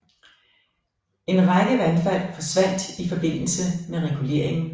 En række vandfald forsvandt i forbindelse med reguleringen